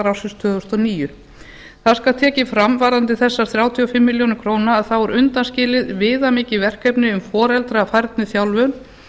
ársins tvö þúsund og níu það skal tekið fram varðandi þessar þrjátíu og fimm milljónir króna að þá er undanskilið viðamikið verkefni um foreldrafærniþjálfun